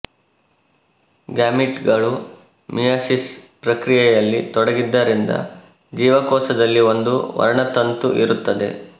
ಗ್ಯಾಮೀಟ್ಗಳು meiosis ಪ್ರಕ್ರಿಯೆಯಲ್ಲಿ ತೊಡಗಿದ್ದರಿಂದ ಜೀವಕೋಶದಲ್ಲಿ ಒಂದು ವರ್ಣತಂತು ಇರುತ್ತದೆ